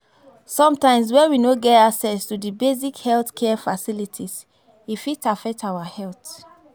Sometimes when we no get access to di basic health care facilities, e fit affect our health